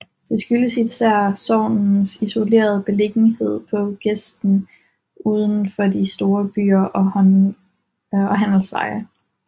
Det skyldtes især sognets isolerede beliggenhed på gesten uden for de store byer og handelsveje